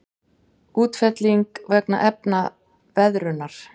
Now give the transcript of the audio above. Útfelling vegna efnaveðrunar.